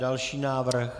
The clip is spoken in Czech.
Další návrh.